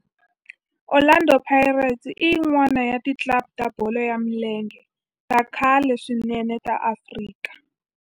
Orlando Pirates i yin'wana ya ti club ta bolo ya milenge ta khale swinene ta Afrika